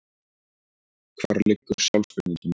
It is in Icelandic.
Hvar liggur sjálfsvirðing mín?